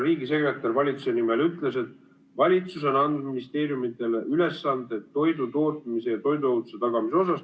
Riigisekretär valitsuse nimel ütles, et valitsus on andnud ministeeriumidele ülesanded toidutootmise ja toiduohutuse tagamiseks.